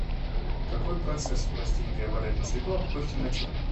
какой процесс у растений преобладает на свету а какой в темноте